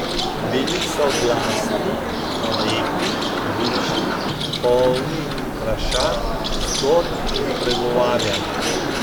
Bili so glasni, lepi, bučni, polni vprašanj, zgodb in pregovarjanj.